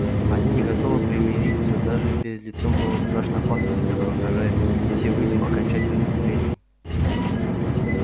они не готовы примириться даже перед лицом новой страшной опасности которая угрожает всем людям окончательным истреблением